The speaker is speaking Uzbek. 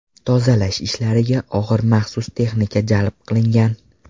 Tozalash ishlariga og‘ir maxsus texnika jalb qilingan.